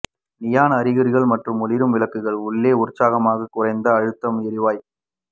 neon அறிகுறிகள் மற்றும் ஒளிரும் விளக்குகள் உள்ளே உற்சாகமாக குறைந்த அழுத்தம் எரிவாயு